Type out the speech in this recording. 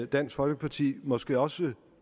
dansk folkeparti måske også